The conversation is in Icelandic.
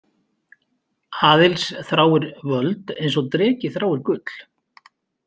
Aðils þráir völd eins og dreki þráir gull.